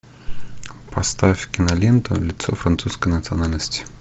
поставь киноленту лицо французской национальности